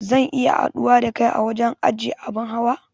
Zan iya haɗuwa da kai a wajen ajiye abin hawa